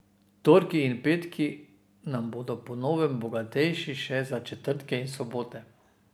Torki in petki na bodo po novem bogatejši še za četrtke in sobote.